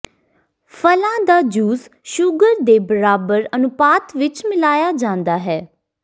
ਫਲਾਂ ਦਾ juice sugar ਦੇ ਬਰਾਬਰ ਅਨੁਪਾਤ ਵਿਚ ਮਿਲਾਇਆ ਜਾਂਦਾ ਹੈ